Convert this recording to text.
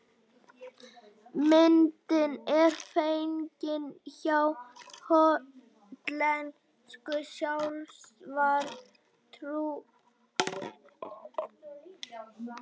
Myndin er fengin hjá hollensku sjávarútvegsfyrirtæki sem veiðir meðal annars kolmunna.